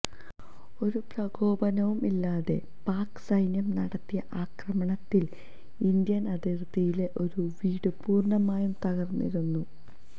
ഒരു പ്രകോപനവും ഇല്ലാതെ പാക് സൈന്യം നടത്തിയ ആക്രമണത്തില് ഇന്ത്യന് അതിര്ത്തിയിലെ ഒരു വീട് പൂര്ണമായും തകര്ന്നിരുന്നു